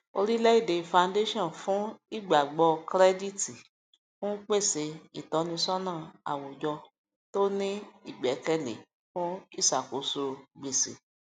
orílẹèdè foundation fún ìgbàgbọ kirẹditi ń pèsè ìtọnisọna àwùjọ tó ní igbẹkẹlé fún iṣakoso gbèsè